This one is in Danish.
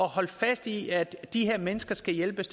holde fast i at de her mennesker skal hjælpes